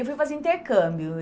Eu fui fazer intercâmbio.